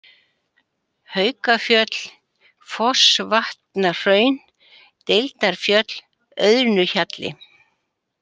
Haukafjöll, Fossvatnahraun, Deildarfjöll, Auðnuhjalli